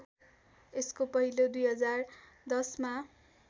यसको पहिलो २०१०मा